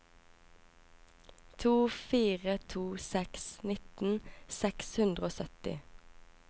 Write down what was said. to fire to seks nittien seks hundre og sytti